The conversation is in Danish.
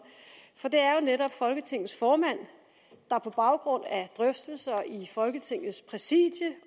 for det er jo netop folketingets formand der på baggrund af drøftelser i folketingets præsidium